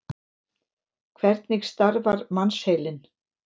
Hvernig starfar mannsheilinn?